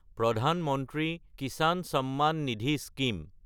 প্ৰধান মন্ত্ৰী কিচান চাম্মান নিধি স্কিম